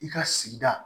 I ka sigida